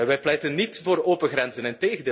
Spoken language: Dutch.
Wij pleiten niet voor open grenzen.